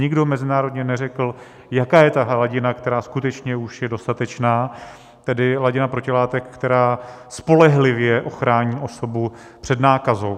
Nikdo mezinárodně neřekl, jaká je ta hladina, která skutečně už je dostatečná, tedy hladina protilátek, která spolehlivě ochrání osobu před nákazou.